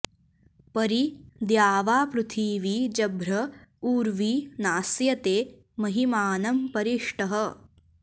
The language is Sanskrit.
परि द्यावापृथिवी जभ्र उर्वी नास्य ते महिमानं परि ष्टः